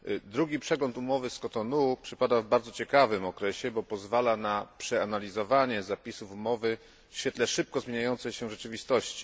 Drugi przegląd umowy z Kotonu przypada w bardzo ciekawym okresie, bo pozwala na przeanalizowanie zapisów umowy w świetle szybko zmieniającej się rzeczywistości.